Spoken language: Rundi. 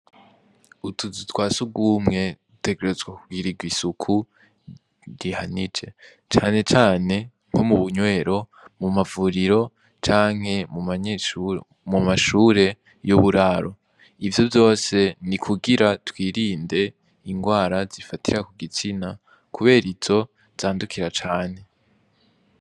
Utuzi twasugumwe dutegerezwa kugira igisuku rihanije canecane nko mu bunywero mu mavuriro canke mu mashure y'uburaro ivyo vyose ni kugira twirinde ingwara zifatira ku gitsina, kubera io zo zandukira cane.